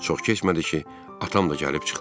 Çox keçmədi ki, atam da gəlib çıxdı.